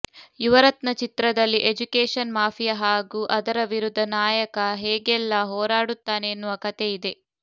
ಯುವರತ್ನ ಚಿತ್ರದಲ್ಲಿ education mafia ಹಾಗೂ ಅದರ ವಿರುದ್ಧ ನಾಯಕ ಹೇಗೆಲ್ಲ ಹೋರಾಡುತ್ತಾನೆ ಎನ್ನುವ ಕಥೆಯಿದೆ